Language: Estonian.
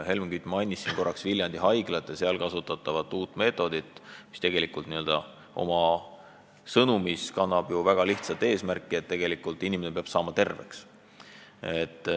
Helmen Kütt mainis korraks Viljandi Haiglat ja seal kasutatavat uut meetodit, mis oma sõnumis kannab ju väga lihtsat eesmärki: tegelikult peab inimene saama terveks.